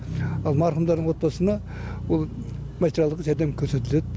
ал марқұмдардың отбасына ол материалдық жәрдем көрсетіледі